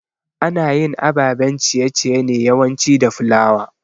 Anayin ababen ciye ciye ne yawanci da flour